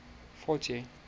forty